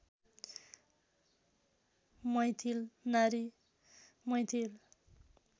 मैथिल नारी मैथिल